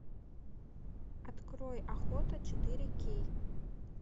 открой охота четыре кей